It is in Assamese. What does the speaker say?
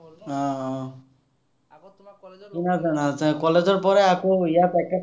চিনা জনা আছে, college ৰ পৰাই আকৌ ইয়াত